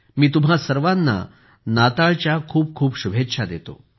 मी तुम्हा सर्वांना नाताळच्या खूप खूप शुभेच्छा देतो